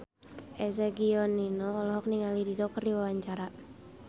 Eza Gionino olohok ningali Dido keur diwawancara